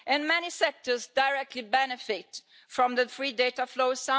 Many sectors directly benefit from the free data flows.